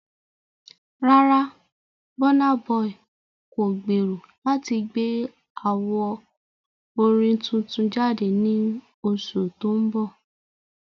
Rárá, Burna Boy kò gbèrò láti gbé àwo orin tuntun jáde ní oṣù tó ń bọ̀.